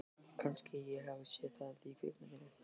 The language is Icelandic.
Kannski ég hafi séð það í kvikmynd.